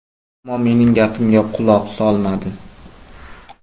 Ammo mening gapimga quloq solmadi.